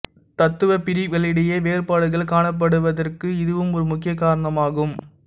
தத்துவப் பிரிவுகளிடையே வேறுபாடுகள் காணப்படுவதற்கு இதுவும் ஒரு முக்கிய காரணமாகும்